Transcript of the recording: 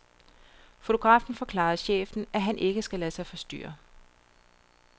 Fotografen forklarer chefen at han ikke skal lade sig forstyrre.